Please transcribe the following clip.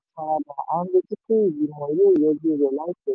ọ̀rọ̀ a ní ìrètí pé ìgbìmọ̀ yóò yanjú rẹ̀ laipẹ.